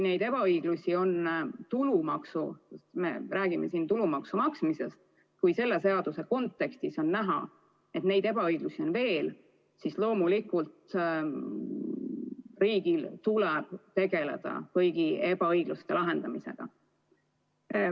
Me räägime praegu tulumaksu maksmisest, aga kui selle seaduse kontekstis on näha, et ebaõiglust on veel, siis loomulikult riigil tuleb tegeleda kõige lahendamisega.